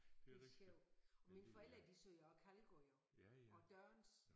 Det sjov og mine forældre de sagde jo også kalgård jo og dørns